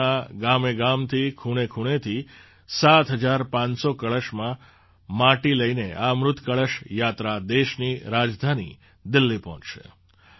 દેશના ગામેગામથી ખૂણેખૂણેથી ૭૫૦૦ કળશમાં માટી લઈને આ અમૃત કળશ યાત્રા દેશની રાજધાની દિલ્લી પહોંચશે